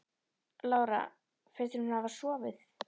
Lára: Finnst þér hún hafa sofið?